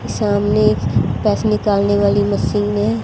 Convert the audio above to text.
सामने पैसे निकालने वाली मशीन है।